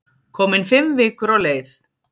Komin fimm vikur á leið.